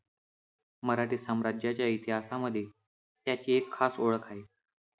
मराठी साम्राज्याच्या इतिहासामध्ये याची एक खास ओळख आहे.